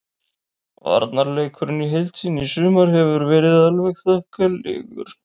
Varnarleikurinn í heild sinni í sumar hefur verið alveg þokkalegur.